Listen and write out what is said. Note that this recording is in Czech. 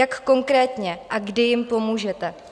Jak konkrétně a kdy jim pomůžete?